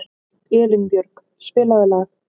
Elínbjörg, spilaðu lag.